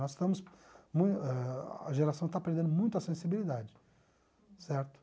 Nós estamos mui ah, a geração está perdendo muito a sensibilidade, certo?